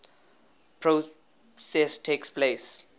process takes place